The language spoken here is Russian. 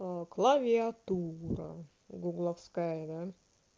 клавиатура гугловская да